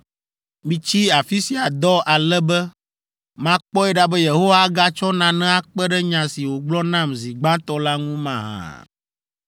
Mitsi afi sia dɔ ale be makpɔe ɖa be Yehowa agatsɔ nane akpe ɖe nya si wògblɔ nam zi gbãtɔ la ŋu mahã.”